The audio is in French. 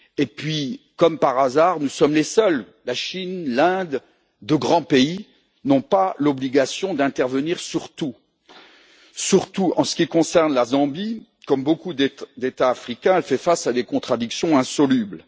Puis, comme par hasard, nous sommes les seuls. La Chine, l'Inde et d'autres grands pays n'ont pas l'obligation d'intervenir sur tout. En ce qui concerne la Zambie, comme beaucoup d'États africains, elle fait face à des contradictions insolubles.